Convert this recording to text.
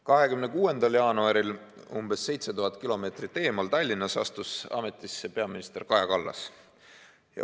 26. jaanuaril umbes 7000 kilomeetrit eemal Tallinnas astus ametisse peaminister Kaja Kallas.